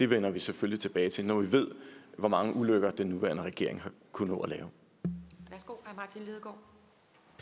vender vi selvfølgelig tilbage til når vi ved hvor mange ulykker den nuværende regering har kunnet nå